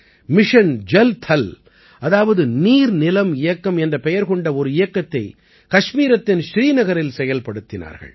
mission Jal Thal அதாவது நீர்நிலம் இயக்கம் என்ற பெயர் கொண்ட ஒரு இயக்கத்தை கஷ்மீரத்தின் ஸ்ரீநகரில் செயல்படுத்தினார்கள்